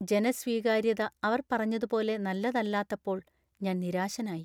ജനസ്വീകാര്യത അവർ പറഞ്ഞതുപോലെ നല്ലതല്ലാത്തപ്പോൾ ഞാൻ നിരാശനായി.